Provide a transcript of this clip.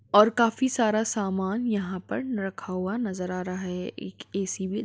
और काफी सारा सामान यहाँ पर रखा हुआ नजर आ रहा है एक ए.सी. भी --